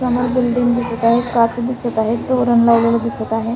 समोर बिल्डिंग दिसत आहे काच दिसत आहे तोरण लावलेल दिसत आहे.